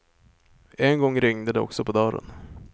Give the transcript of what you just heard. En gång ringde det också på dörren.